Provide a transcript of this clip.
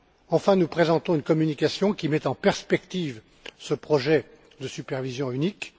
Enfin, nous présentons une communication qui met en perspective ce projet de supervision unique.